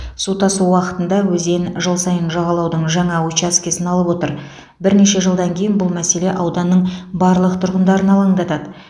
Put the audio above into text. су тасу уақытында өзен жыл сайын жағалаудың жаңа учаскесін алып отыр бірнеше жылдан кейін бұл мәселе ауданның барлық тұрғындарын алаңдатады